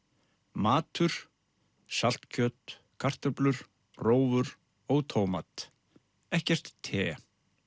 matur saltkjöt kartöflur rófur og tómat ekkert te